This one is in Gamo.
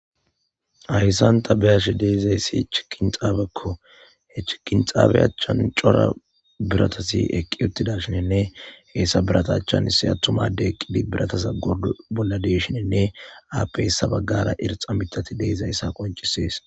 Haysa ta beyashe dizaysi chigin xabako he chigin xaba achan daro biratati eqi utashine hesa birata achan issi adey eqqidi birataza gordo bolla de'esine appe hesa bagara irxa mithati de'izaysa qoncises